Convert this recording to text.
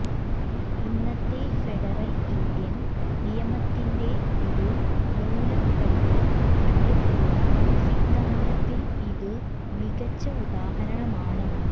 ഇന്നത്തെ federal Indian നിയമത്തിന്റെ ഒരു മൂലക്കല്ല് കണ്ടെത്തിയ സിദ്ധാന്തത്തിൽ ഇത് മികച്ച ഉദാഹരണമാണ്